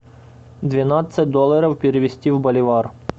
двенадцать долларов перевести в боливар